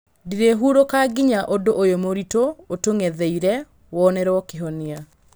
Ndiĩhurũka nginyagia ũndũ ũyũ mũritũ ũtũng'etheire wonerwo kĩhonia